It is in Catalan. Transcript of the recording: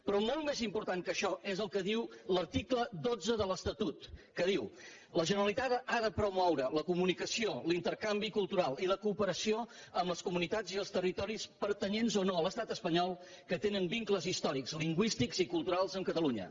però molt més important que això és el que diu l’article dotze de l’estatut que diu la generalitat ha de promoure la comunicació l’intercanvi cultural i la cooperació amb les comunitats i els territoris pertanyents o no a l’estat espanyol que tenen vincles històrics lingüístics i culturals amb catalunya